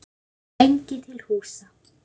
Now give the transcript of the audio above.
lengi til húsa.